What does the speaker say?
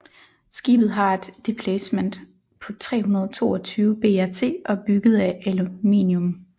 Skibet har et deplacement på 322 BRT og er bygget af aluminium